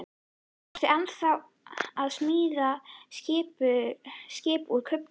Ertu ennþá að smíða skip úr kubbum?